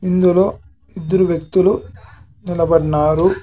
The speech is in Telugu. ఇందులో ఇద్దరు వ్యక్తులు నిలబన్నారు.